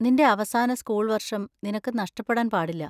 നിന്‍റെ അവസാന സ്കൂൾ വര്‍ഷം നിനക്ക് നഷ്ടപ്പെടാൻ പാടില്ല.